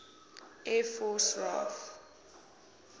air force raaf